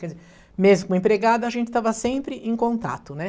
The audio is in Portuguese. Mesmo como empregada, a gente estava sempre em contato, né?